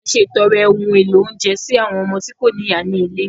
A ṣètọrẹ ohun èlò oúnjẹ sí àwọn ọmọ tí kò ní ìyá ní ilé